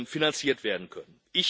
finanziert werden können.